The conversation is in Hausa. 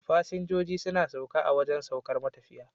fasinjijo suna sauka a wajan saukar matafiya